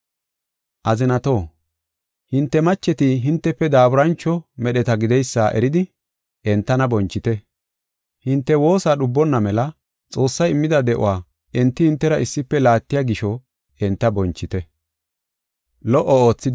Azinatoo, hinte macheti hintefe daaburancho medheta gideysa eridi, entana bonchite; hinte woosa dhubonna mela Xoossay immida de7uwa enti hintera issife laattiya gisho enta bonchite.